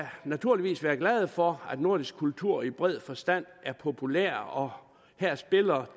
naturligvis være glade for at nordisk kultur i bred forstand er populær og her spiller